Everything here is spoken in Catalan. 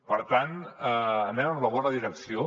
per tant anem en la bona direcció